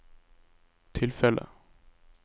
tilfellet